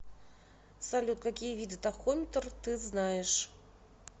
салют какие виды тахометр ты знаешь